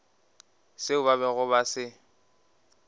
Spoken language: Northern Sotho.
seo ba bego ba se